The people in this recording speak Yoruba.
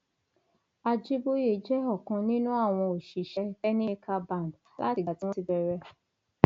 ajiboye jẹ ọkan nínú àwọn òṣìṣẹ cs] kenny maker band látìgbà tí wọn ti bẹrẹ